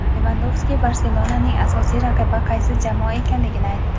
Levandovski "Barselona"ning asosiy raqibi qaysi jamoa ekanligini aytdi.